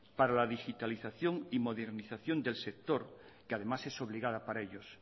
para la digitalización y modernización del sector que además es obligada para ellos